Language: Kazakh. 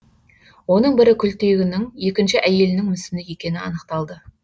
оның бірі күлтегінің екінші әйелінің мүсіні екені анықталды